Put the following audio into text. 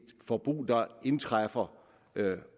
forbrug der indtræffer